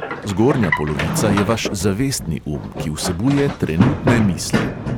Zgornja polovica je vaš zavestni um, ki vsebuje trenutne misli.